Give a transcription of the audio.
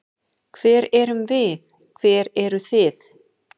Hver erum við, hver eru þið?